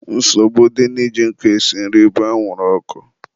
nsogbu dị na iji nkụ esi nri bụ anwụrụ ọkụ.